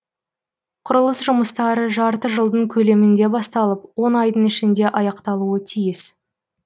құрылыс жұмыстары жарты жылдың көлемінде басталып он айдың ішінде аяқталуы тиіс